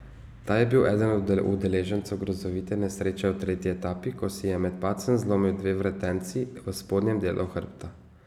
Ta je bil eden od udeležencev grozovite nesreče v tretji etapi, ko si je med padcem zlomil dve vretenci v spodnjem delu hrbta.